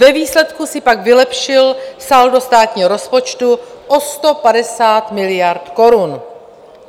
Ve výsledku si pak vylepšil saldo státního rozpočtu o 150 miliard korun.